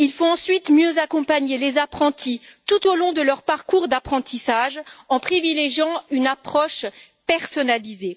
Ensuite, il faut mieux accompagner les apprentis tout au long de leur parcours d'apprentissage, en privilégiant une approche personnalisée.